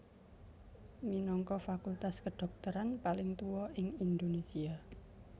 minangka fakultas kedhokteran paling tuwa ing Indonésia